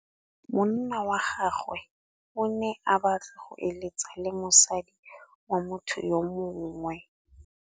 Monna wa gagwe o ne a batla go êlêtsa le mosadi wa motho yo mongwe.